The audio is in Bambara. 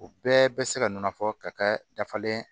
U bɛɛ bɛ se ka nɔnɔ fɔ ka kɛ dafalen ye